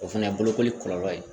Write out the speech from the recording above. O fana ye bolokoli kɔlɔlɔ ye